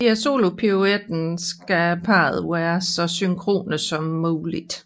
I solopiruetten skal parret være så synkrone som muligt